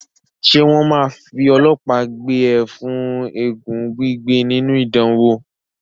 Ṣé wọ́n máa fi ọlọ́pàá gbé e fún eégún gbígbé nínú ìdánwò?